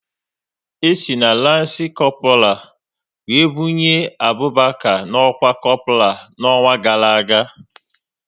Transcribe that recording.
E si na lanci Kopral wéré bunye Abụbaka n'ọkwá Kopral n'ọnwa gara aga